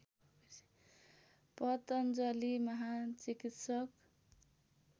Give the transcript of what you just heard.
पतञ्जलि महान् चिकित्सक